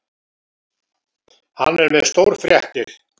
Hann er með stórfréttir.